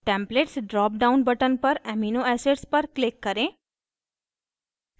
templates drop down button पर amino acids पर click करें